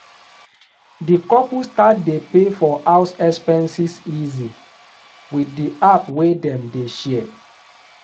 the couple start dey pay for house expenses easy with the app wey dem dey share